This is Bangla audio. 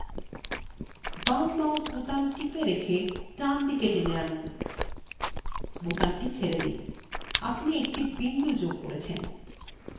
বামmouse বোতাম টিপে রেখে drag দিকে টেনে আনুন বোতামটি ছেড়ে দিন আপনি একটি বিন্দু যোগ হয়েছে